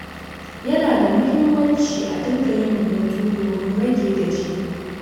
Yana da muhimmanci a dinga yin hutu domin rage gajiya.